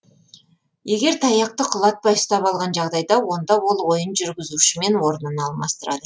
егер таяқты құлатпай ұстап алған жағдайда онда ол ойын жүргізушімен орнын алмастырады